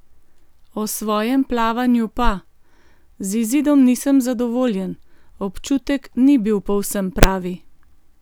O svojem plavanju pa: "Z izidom nisem zadovoljen, občutek ni bil povsem pravi.